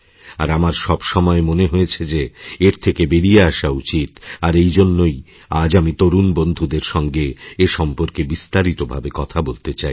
আর আমার সবসময় মনে হয়েছেযে এর থেকে বেরিয়ে আসা উচিত আর এই জন্যই আজ আমি তরুণ বন্ধুদের সঙ্গে এ সম্পর্কেবিস্তারিত ভাবে কথা বলতে চাই